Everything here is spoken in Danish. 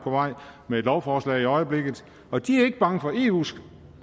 med et lovforslag i øjeblikket og de er ikke bange for eus